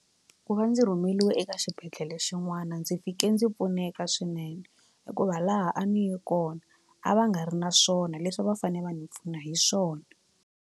Ku va ndzi rhumeliwe eka xibedhlele xin'wana ndzi fike ndzi pfuneka swinene hikuva laha a ni ye kona a va nga ri na swona leswi a va fane va ndzi pfuna hi swona.